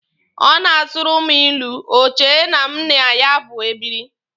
Ọ na-asụrụ mụ ilu, o che na mụ na ya bụ ebiri.